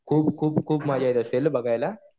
खूप खूप खूप मजा येत असेल ना बघायला.